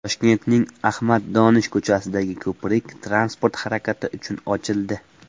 Toshkentning Ahmad Donish ko‘chasidagi ko‘prik transport harakati uchun ochildi .